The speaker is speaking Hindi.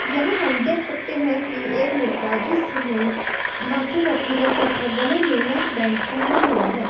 यहां हम देख सकते हैं कि एक लड़का जिसने माथे पर तिलक तथा गले में नेकबैंड पहेना हुआ है।